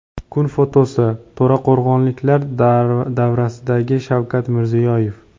Kun fotosi: To‘raqo‘rg‘onliklar davrasidagi Shavkat Mirziyoyev.